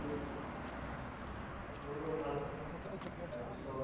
মোৰ বাৰু ভাল এনে তাৰপিছত